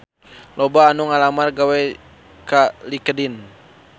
Loba anu ngalamar gawe ka Linkedin